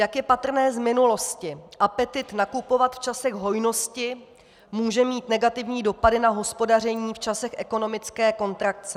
Jak je patrné z minulosti, apetyt nakupovat v časech hojnosti může mít negativní dopady na hospodaření v časech ekonomické kontrakce.